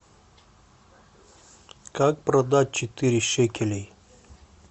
как продать четыре шекелей